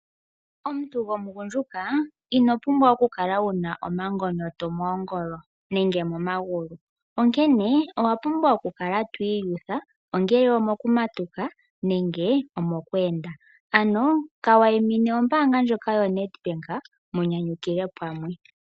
Omuntu gwomugundjuka ino pumbwa oku kala wu na omangonyoto moongolo, nenge momagulu, onkene owa pumbwa okukala twiiyutha ongele omukumatuka, nenge omo ku enda. Ano ka waimine ombaanga ndjoka yo nedbank, munyanyukilwe pamwe.